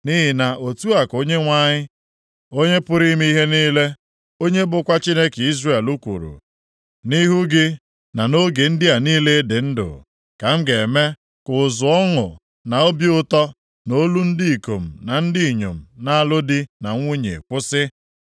Nʼihi na otu a ka Onyenwe anyị, Onye pụrụ ime ihe niile, onye bụkwa Chineke Izrel kwuru, ‘Nʼihu gị, na nʼoge ndị a niile ị dị ndụ, ka m ga-eme ka ụzụ ọṅụ na obi ụtọ, na olu ndị ikom na nke ndị inyom na-alụ di na nwunye kwụsị.’